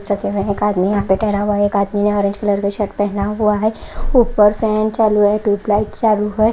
इस चित्र एक आदमी यहां पे ठहरा हुआ है एक आदमी यहाँ ऑरेंज कलर का शर्ट पहना हुआ है ऊपर फैन चालू है ट्यूब लाइट चालू है।